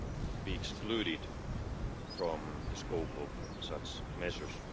to be excluded from the scope of such measures.